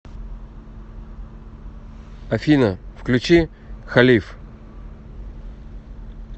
афина включи халиф